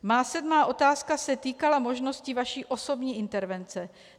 Má sedmá otázka se týkala možnosti vaší osobní intervence.